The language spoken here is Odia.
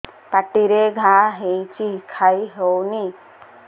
ପାଟିରେ ଘା ହେଇଛି ଖାଇ ହଉନି